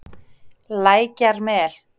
Lækjarmel